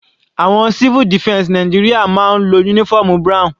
Àwọn civil defense Nàìjíríà máa ń lo uniform brown.